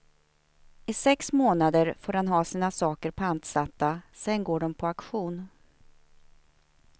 I sex månader får man ha sina saker pantsatta, sedan går de på auktion.